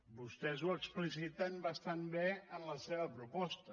vostès ho expliciten bastant bé en la seva proposta